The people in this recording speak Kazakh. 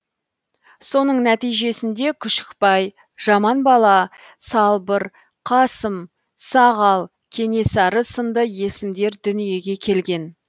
соның нәтижесінде күшікбай жаманбала салбыр қасым сағал кенесары сынды есімдер дүниеге келген